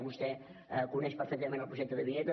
vostè coneix perfectament el projecte de la vinyeta